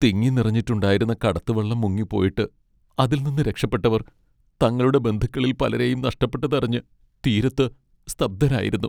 തിങ്ങിനിറഞ്ഞിട്ടുണ്ടായിരുന്ന കടത്തുവള്ളം മുങ്ങിപ്പോയിട്ട് അതിൽനിന്ന് രക്ഷപ്പെട്ടവർ തങ്ങളുടെ ബന്ധുക്കളിൽ പലരെയും നഷ്ടപ്പെട്ടതറിഞ്ഞ് തീരത്ത് സ്തബ്ധരായിരുന്നു.